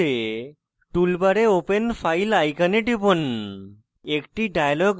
file খুলতে tool bar open file icon টিপুন